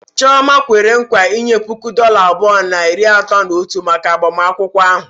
Chioma kwere nkwa inye puku dọla abụọ na iri atọ na otu maka agbamakwụkwọ ahụ.